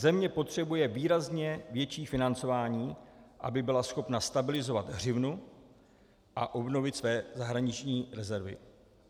Země potřebuje výrazně větší financování, aby byla schopna stabilizovat hřivnu a obnovit své zahraniční rezervy.